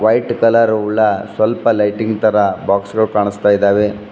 White colour ಉಳ್ಳ ಸ್ವಲ್ಪ lighting ತರ ಬಾಕ್ಸ್ ಗಳು ಕಾಣಿಸ್ತಾ ಇದಾವೆ.